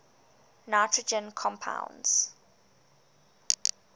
nitrogen compounds